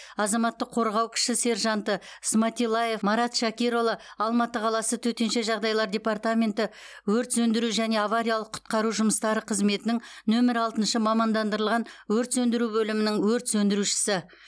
азаматтық қорғау кіші сержанты сматиллаев марат шакирұлы алматы қаласы төтенше жағдайлар департаменті өрт сөндіру және авариялық құтқару жұмыстары қызметінің нөмір алтыншы мамандандырылған өрт сөндіру бөлімінің өрт сөндірушісі